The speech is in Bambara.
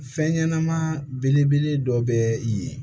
Fɛn ɲɛnɛma belebele dɔ bɛ yen